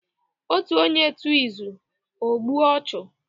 Otu onye tuo izu, o gbue ochu